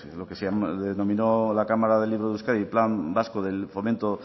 lo que se denominó la cámara del libro de euskadi el plan vasco del fomento